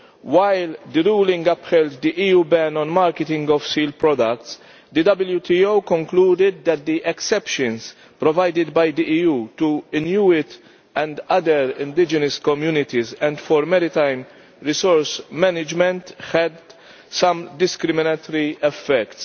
While the ruling upheld the EU ban on marketing of seal products, the WTO concluded that the exceptions provided by the EU for Inuit and other indigenous communities and for maritime resource management had some discriminatory effects.